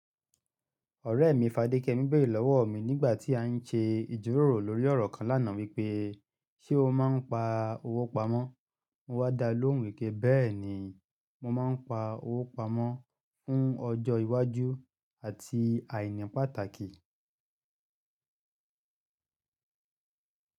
Ọ̀rẹ́ mi Fadékemí beere lọ́wọ́ mi nígbà tí a ń ṣe ìjíròrò lórí ọ̀rọ̀ kan lánàá wípé, "ṣé o máa ń pa owó pamọ́?" Mo wá da lóhùn wipe bẹ́ẹ̀ ni mo máa ń pa owó pamọ́ fún ọjọ́ iwájú àti àìní pàtàkì.